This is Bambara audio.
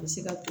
A bɛ se ka